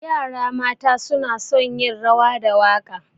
Yara mata suna son yin rawa da waƙa.